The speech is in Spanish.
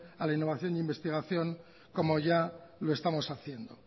a la innovación e investigación como ya lo estamos haciendo